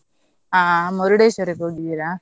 ಹಾ Murdeshwar ಕ್ಕೆ ಹೋಗಿದ್ದೀರಾ?